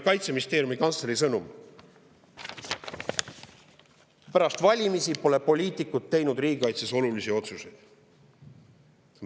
Kaitseministeeriumi kantsleri sõnum oli, et pärast valimisi pole poliitikud teinud riigikaitses olulisi otsuseid.